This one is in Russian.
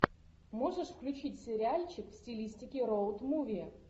можешь включить сериальчик в стилистике роуд муви